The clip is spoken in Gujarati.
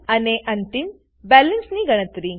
અને અંતિમ બેલેન્સની ગણતરી